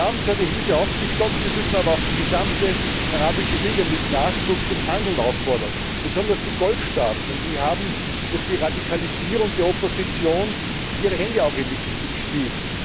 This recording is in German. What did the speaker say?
Wir haben zwar die Hilfe aufgestockt, wir müssen aber auch die gesamte Arabische Liga mit Nachdruck zum Handeln auffordern, besonders die Golfstaaten, denn sie haben durch die Radikalisierung der Opposition ihre Hände auch mit im Spiel.